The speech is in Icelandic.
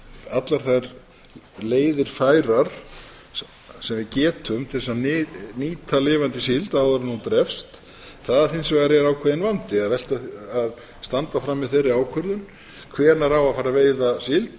allar þær leiðir færar sem við getum til þess að nýta lifandi síld áður en hún drepst það hins vegar er ákveðinn vandi að standa frammi fyrir þeirri ákvörðun hvenær á að fara að veiða síld